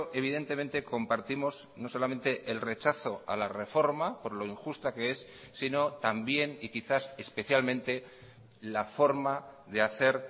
evidentemente compartimos no solamente el rechazo a la reforma por lo injusta que es sino también y quizás especialmente la forma de hacer